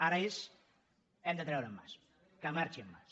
ara és hem de treure en mas que marxi en mas